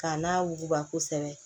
K'a n'a wuguba kosɛbɛ